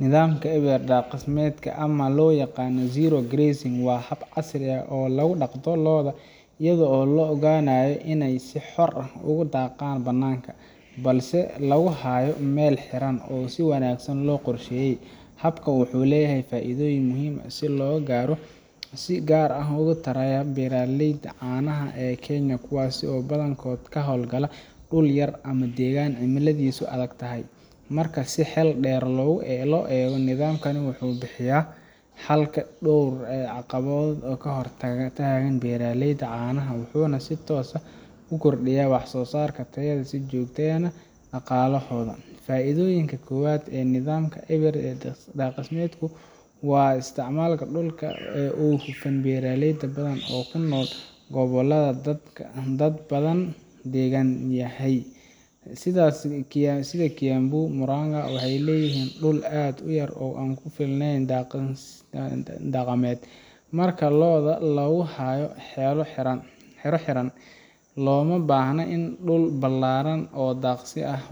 Nidaamka eber-daqsimeedka ama loo yaqana zero grazing waa hab casri ah oo loo daqda looda iyado oo looganaya in ey si xor ah ugudaqaan banaanka balse laguhaayo Mel xiran oo si wanaagsan loo qorsheye Habka wuxuu leeyahy faaidooyin muhiim ah si logaara sigaar ah ugutaraya beeraleyda canaha e Kenya kuwaasi oo badankood kahool gala dul yar ama degaan cimiladisu adagtahy. Marka si hel deer loo ego nidaamkani wuxu bixiyaa xalka du ee caqabada kahortagta in beeraleyda caanaha wuxuna si toos ah ukordiyaa wax sosaarka tayada si joogta eh neh daqaale xoogan. Faaidooyinka kobaad ee nidhaamka eber daaqsimeedku waa isticmalka dulka ee u kufan beeraleyda badan oo kunool goboladha dad badan degaan yahy sidha Kiambu, muranga waxey leyihiin dul aad uyar oo aan kufilneen daqameed. Marka looda laguhaayo Xero xitan loomabahna in dul balaaran oo daqsi ah